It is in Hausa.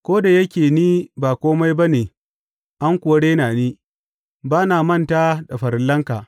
Ko da yake ni ba kome ba ne an kuwa rena ni, ba na manta da farillanka.